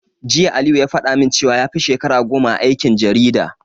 Jiya Aliyu ya faɗa min cewa yafi shekara goma a aikin jarida.